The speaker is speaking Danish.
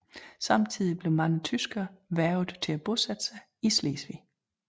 Samtidig blev mange tyskere hvervet til at bosætte sig i Slesvig